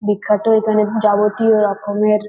বিখ্যাত এখানে যাবতীয় রকমের --